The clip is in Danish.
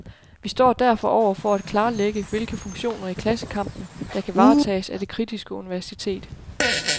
Vi står derfor over for at klarlægge, hvilke funktioner i klassekampen, der kan varetages af det kritiske universitet.